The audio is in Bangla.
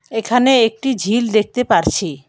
এখানে একটি ঝিল দেখতে পারছি।